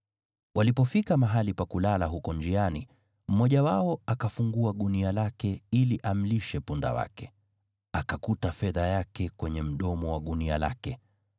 Walipofika mahali pa kulala huko njiani mmoja wao akafungua gunia lake ili amlishe punda wake, akakuta fedha yake kwenye mdomo wa gunia lake.